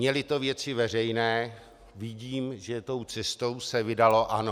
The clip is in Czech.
Měly to Věci veřejné, vidím, že tou cestou se vydalo ANO.